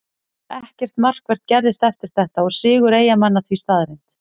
Ekkert markvert gerðist eftir þetta og sigur Eyjamanna því staðreynd.